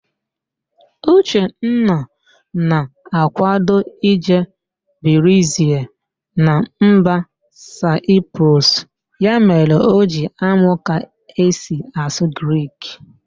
Uchenna na-ákwádo ije birizie na mba Saịprọs, ya mere O ji amụ ka esi asụ Grik.